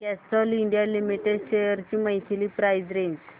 Castrol India limited shares ची monthly price range